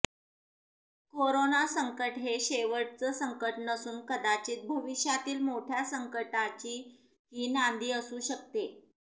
corona संकट हे शेवटचं संकट नसून कदाचित भविष्यातील मोठ्या संकटांची ही नांदी असू शकते